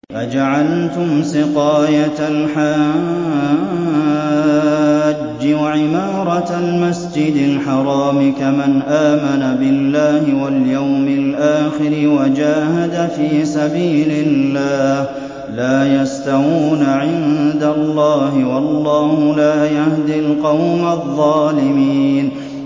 ۞ أَجَعَلْتُمْ سِقَايَةَ الْحَاجِّ وَعِمَارَةَ الْمَسْجِدِ الْحَرَامِ كَمَنْ آمَنَ بِاللَّهِ وَالْيَوْمِ الْآخِرِ وَجَاهَدَ فِي سَبِيلِ اللَّهِ ۚ لَا يَسْتَوُونَ عِندَ اللَّهِ ۗ وَاللَّهُ لَا يَهْدِي الْقَوْمَ الظَّالِمِينَ